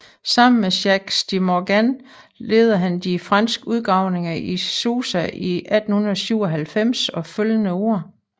Sammen med Jacques de Morgan ledede han de franske udgravninger i Susa i 1897 og følgende år